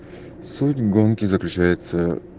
суть гонки заключается